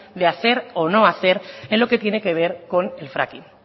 de hacer o no hacer en lo que tiene que ver con el fracking